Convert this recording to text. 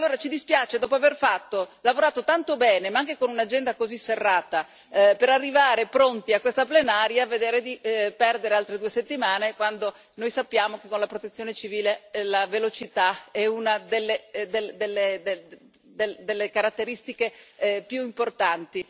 Allora ci dispiace dopo aver lavorato tanto bene, anche con un'agenda così serrata, per arrivare pronti a questa Plenaria vedere di perdere altre due settimane, quando noi sappiamo che con la Protezione civile la velocità è una delle caratteristiche più importanti.